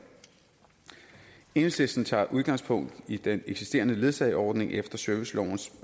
enhedslisten tager udgangspunkt i den eksisterende ledsageordning efter servicelovens